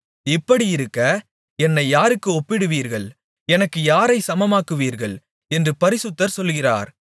இப்படியிருக்க என்னை யாருக்கு ஒப்பிடுவீர்கள் எனக்கு யாரை சமமாக்குவீர்கள் என்று பரிசுத்தர் சொல்கிறார்